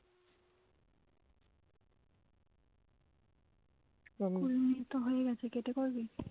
কুড়ি মিনিট তো হয়ে গেছে কেটে করবি